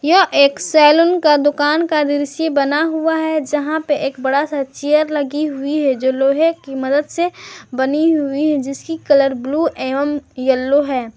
यह एक सैलून का दुकान का दृश्य बना हुआ है जहां पे एक बड़ा सा चेयर लगी हुई है जो लोहे की मदद से बनी हुई है जिसकी कलर ब्लू एवं येलो है।